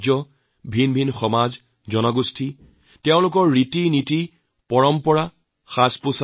মই বিচাৰো এইবাৰৰ ছুটীৰ সময়ত আপোনালোকে কেৱল অলপ ঘৰৰ বাহিৰলৈ যায়